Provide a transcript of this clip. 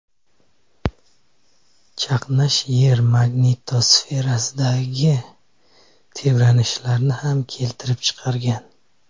Chaqnash Yer magnitosferasidagi tebranishlarni ham keltirib chiqargan.